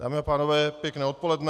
Dámy a pánové, pěkné odpoledne.